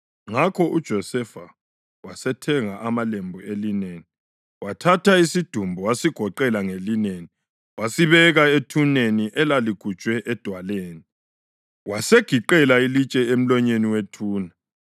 Ngakho uJosefa wasethenga amalembu elineni, wathatha isidumbu wasigoqela ngelineni wasibeka ethuneni elaligujwe edwaleni. Wasegiqela ilitshe emlonyeni wethuna.